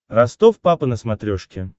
ростов папа на смотрешке